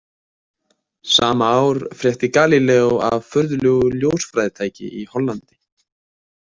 Sama ár frétti Galíleó af furðulegu ljósfræðitæki í Hollandi.